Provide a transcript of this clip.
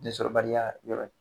Densɔrɔbaliya yɔrɔ ye